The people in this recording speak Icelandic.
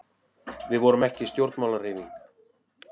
Við vorum ekki stjórnmálahreyfing.